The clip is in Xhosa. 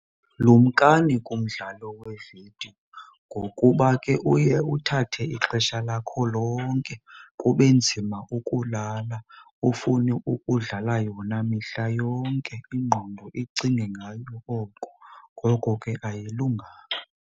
Lumkani kumdlalo wevidiyo ngokuba ke uye uthathe ixesha lakho lonke kube nzima ukulala, ufune ukudlala yona mihla yonke, ingqondo icinge ngayo oko. Ngoko ke ayilunganga.